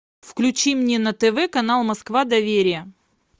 включи мне на тв канал москва доверие